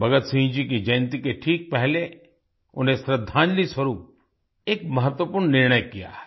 भगत सिंह जी की जयंती के ठीक पहले उन्हें श्रद्धांजलि स्वरुप एक महत्वपूर्ण निर्णय किया है